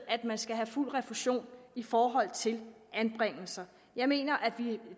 at man skal have fuld refusion i forhold til anbringelser jeg mener at vi